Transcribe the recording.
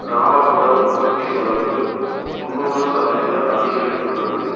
கிராம புற உற்பத்தி செலவு முன்னூறு சதவீத அதிகரித்துள்ளது